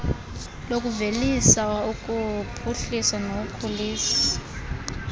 lokuvelisa ukuphuhliswa nokukhuliswa